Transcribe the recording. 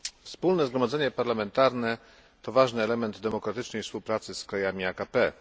Wspólne Zgromadzenie Parlamentarne to ważny element demokratycznej współpracy z krajami AKP.